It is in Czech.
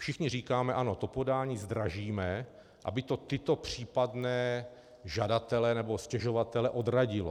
Všichni říkáme ano, to podání zdražíme, aby to tyto případné žadatele nebo stěžovatele odradilo.